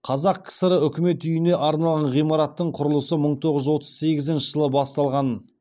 қазақ кср үкімет үйіне арналған ғимараттың құрылысы мың тоғыз жүз отыз сегізінші жылы басталған